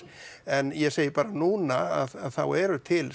en ég segi bara núna þá eru til